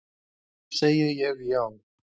Því segi ég já.